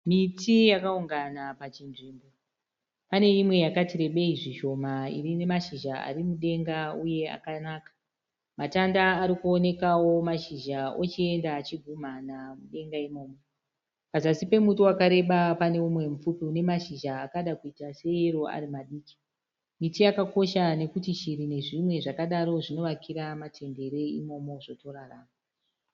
Miti yakaungana pachinzvimbo, pane imwe yakati rebeyi zvishoma inemashizha arimudenga uye akanaka. Matanda arikuonekawo mashizha ochienda achigumhana mudenga imomo. Pazasi pemuti wakareba pane mumwe mupfupi une mashizha akada kuita seyero asi iwo arimadiki. Miti yakakosha nekuti shiri nezvimwe zvakadaro zvinovakira matendere imomo zvotorarama.